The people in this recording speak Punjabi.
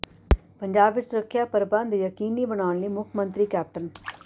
ਪੰਜਾਬ ਵਿੱਚ ਸੁਰੱਖਿਆ ਪ੍ਰਬੰਧ ਯਕੀਨੀ ਬਣਾਉਣ ਲਈ ਮੁੱਖ ਮੰਤਰੀ ਕੈਪਟਨ